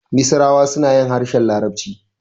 Misirawa suna yin harshen larabci.